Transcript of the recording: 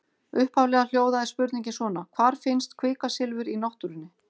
Upphaflega hljóðaði spurningin svona: Hvar finnst kvikasilfur í náttúrunni?